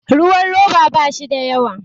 ruwan roba ba shi da yawa